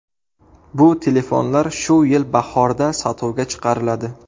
Bu telefonlar shu yil bahorda sotuvga chiqariladi.